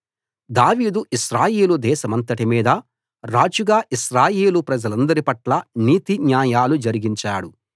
దావీదు ఇశ్రాయేలు దేశమంతటి మీద రాజుగా ఇశ్రాయేలు ప్రజలందరి పట్లా నీతి న్యాయాలు జరిగించాడు